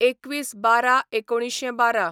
२१/१२/१९१२